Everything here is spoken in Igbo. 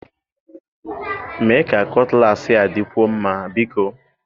Mee ka kutlassi a dịkwuo mma, biko!